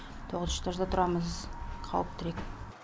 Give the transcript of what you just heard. тоғызыншы этажда тұрамыз қауіптірек